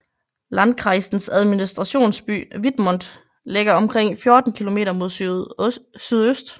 Landkreisens administrationsby Wittmund ligger omkring 14 kilometer mod sydøst